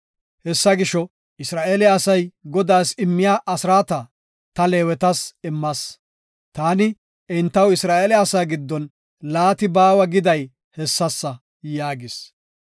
Hessa gisho, Isra7eele asay Godaas immiya asraata, ta Leewetas immas. Taani, entaw Isra7eele asaa giddon laati baawa giday hessasa” yaagis.